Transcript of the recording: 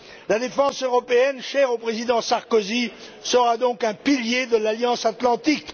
La défense européenne, chère au Président Sarkozy, sera donc un pilier de l'Alliance atlantique.